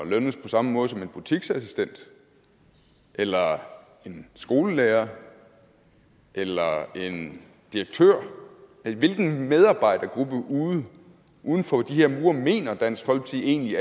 lønnes på samme måde som en butiksassistent eller en skolelærer eller en direktør hvilken medarbejdergruppe uden uden for de her mure mener dansk folkeparti egentlig